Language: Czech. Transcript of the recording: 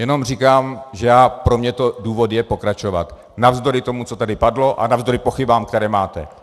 Jenom říkám, že pro mě to důvod je pokračovat, navzdory tomu, co tady padlo, a navzdory pochybám, které máte.